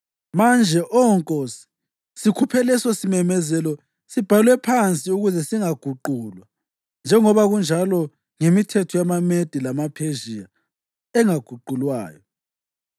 Manje, Oh nkosi, sikhuphe lesosimemezelo sibhalwe phansi ukuze singaguqulwa njengoba kunjalo ngemithetho yamaMede lamaPhezhiya engaguqulwayo.”